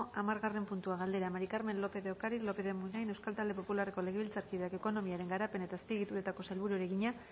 hamargarren puntua galdera maría del carmen lópez de ocariz lópez de munain euskal talde popularreko legebiltzarkideak ekonomiaren garapen eta azpiegituretako sailburuari egina